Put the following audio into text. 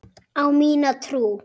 Á mína trú.